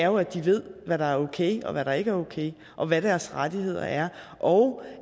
jo at de ved hvad der er okay og hvad der ikke er okay og hvad deres rettigheder er og